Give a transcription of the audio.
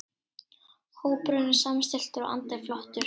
Hópurinn er samstilltur og andinn flottur.